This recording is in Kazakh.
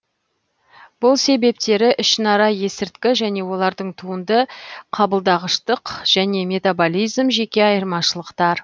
бұл себептері ішінара есірткі және олардың туынды қабылдағыштық және метаболизм жеке айырмашылықтар